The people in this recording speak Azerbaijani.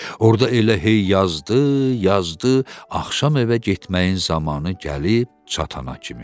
Orda elə hey yazdı, yazdı axşam evə getməyin zamanı gəlib çatana kimi.